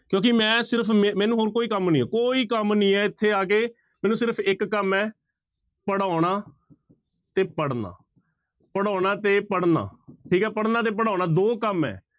ਕਿਉਂਕਿ ਮੈਂ ਸਿਰਫ਼ ਮ ਮੈਨੂੰ ਹੋਰ ਕੋਈ ਕੰਮ ਨਹੀਂ ਹੈ ਕੋਈ ਕੰਮ ਨਹੀਂ ਹੈ ਇੱਥੇ ਆ ਕੇ ਮੈਨੂੰ ਸਿਰਫ਼ ਇੱਕ ਕੰਮ ਹੈ ਪੜ੍ਹਾਉਣਾ ਤੇ ਪੜ੍ਹਨਾ, ਪੜ੍ਹਾਉਣਾ ਤੇ ਪੜ੍ਹਨਾ, ਠੀਕ ਹੈ ਪੜ੍ਹਨਾ ਤੇ ਪੜ੍ਹਾਉਣਾ ਦੋ ਕੰਮ ਹੈ।